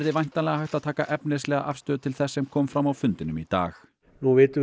væntanlega hægt að taka efnislega afstöðu til þess sem kom fram á fundinum í dag nú vitum við